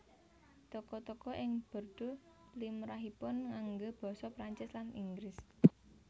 Toko toko ing Bordeaux limrahipun nganggé basa Prancis lan Inggris